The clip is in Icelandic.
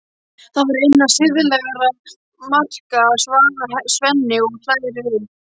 Það var innan siðlegra marka, svarar Svenni og hlær við.